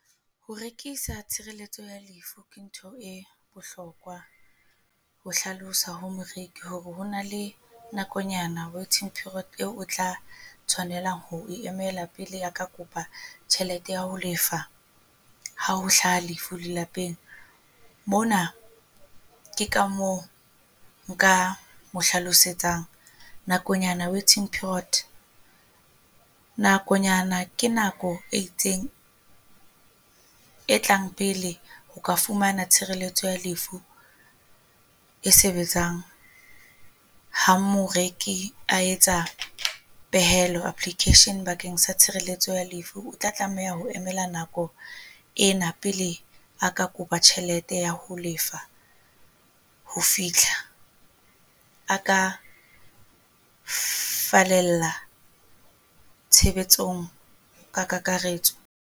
Ho rekisa tshireletso ya lefu ke ntho e bohlokwa ho hlalosa hore moreki ho na le nakonyana waiting period eo o tla tshwanela ho e emela pele ya ka kopa tjhelete ya ho lefa ha ho hla ha lefu lelapeng. Mona ke ka moo nka mo hlalosetsang nakonyana waiting period. Nakonyana ke nako e itseng e tlang pele ho ka fumana tshireletso ya lefu e sebetsang. Ha moreki a etsa pehelo application bakeng sa tshireletso ya lefu, o tla tlameha ho emela nako ena pele a ka kopa tjhelete ya ho lefa ho fitlha a ka falella tshebetsong ka kakaretso.